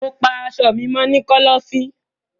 Mo pa aṣọ mi mọ ni kọlọfin.